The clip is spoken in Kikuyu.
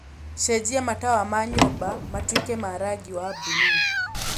cenjia matawa ma nyũmba matuĩke ma rangi wa buluu